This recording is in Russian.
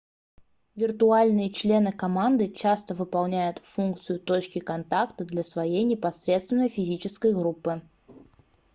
виртуальные члены команды часто выполняют функцию точки контакта для своей непосредственной физической группы